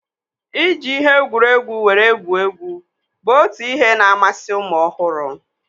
Iji ihe egwuregwu were gwuo egwu bụ otu n'ihe na-amasi ụmụ ọhụrụ